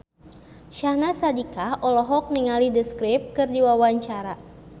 Syahnaz Sadiqah olohok ningali The Script keur diwawancara